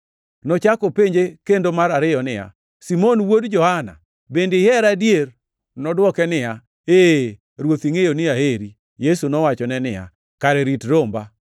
Nochako openje kendo mar ariyo niya, “Simon wuod Johana, bende ihera adier?” Nodwoke niya, “Ee, Ruoth, ingʼeyo ni aheri.” Yesu nowachone niya, “Kare rit romba.”